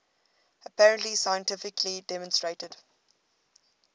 apparently scientifically demonstrated